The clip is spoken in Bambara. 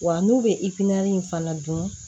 Wa n'u bɛ in fana dun